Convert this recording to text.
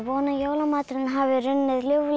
að jólamaturinn hafi runnið ljúflega